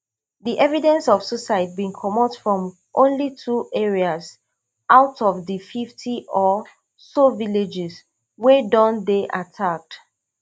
di evidence of suicides bin comot from only two areas out of di fifty or so villages wey don dey attacked